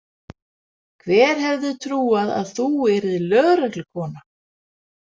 Hver hefði trúað að þú yrðir lögreglukona?